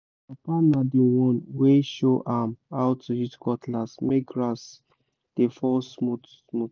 papa na the one wey show am how to use cutlass make grass dey fall smooth-smooth